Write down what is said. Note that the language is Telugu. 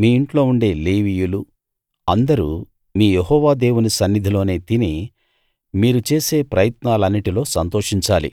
మీ ఇంట్లో ఉండే లేవీయులు అందరూ మీ యెహోవా దేవుని సన్నిధిలో తిని మీరు చేసే ప్రయత్నాలన్నిటిలో సంతోషించాలి